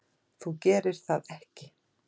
Þú gerir það ekki.